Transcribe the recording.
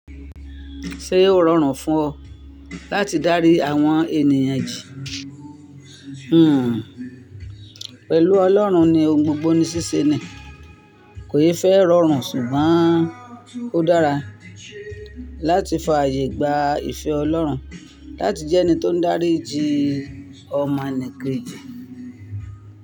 Ṣe o rọrùn fún ọ láti dárí àwọn ènìyàn jì? Hmmm. Pẹ̀lú Ọlọ́run ni ohun gbogbo ní ṣíṣe ni. Kò yẹ fẹ́ rọrùn ṣùgbọ́n ó dára láti fàyè gba ìfẹ́ Ọlọ́run láti jẹ́ ẹni tó ń dárí ji ọmọnìkejì.